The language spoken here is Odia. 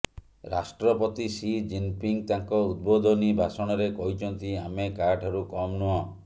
ରାଷ୍ଟ୍ରପତି ସି ଜିନପିଙ୍ଗ ତାଙ୍କ ଉଦ୍ବୋଧନୀ ଭାଷଣରେ କହିଛନ୍ତି ଆମେ କାହାଠାରୁ କମ ନୁହଁ